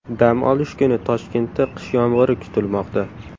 Dam olish kuni Toshkentda qish yomg‘iri kutilmoqda.